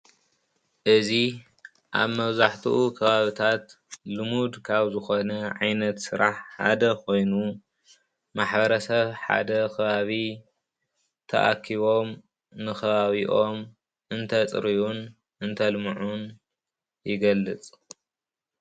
እዚ ኣብ መብዛሕትኡ ከባቢታት ልሙድ ካብ ዝኮነ ዓይነት ስራሕ ሓደ ኮይኑ ማሕበረሰብ ሓደ ከባቢ ተኣኪቦም ንከባቢኦም እንተፅርዩን እንተልምዑን ይገልፅ::